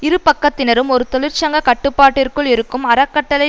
இரு பக்கத்தினரும் ஒரு தொழிற்சங்க கட்டுப்பாட்டிற்குள் இருக்கும் அறக்கட்டளை